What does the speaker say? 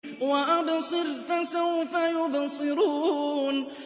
وَأَبْصِرْ فَسَوْفَ يُبْصِرُونَ